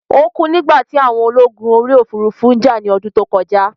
Ó kú nígbà tí àwọn ológun orí òfurufú jà ní ọdún tó kọjá